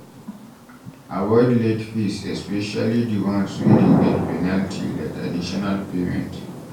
Avoid late fees especially di ones wey dey get penalty like additional payment